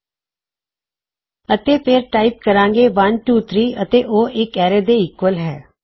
ਅਤੇ ਫੇਰ ਅਸੀਂ ਟਾਇਪ ਕਰਾਂਗੇ 123 ਅਤੇ ਉਹ ਇੱਕ ਐਰੇ ਦੇ ਈਕਵਲ ਹੈ